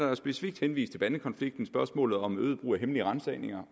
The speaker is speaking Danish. der specifikt henvist til bandekonflikten spørgsmålet om øget brug af hemmelige ransagninger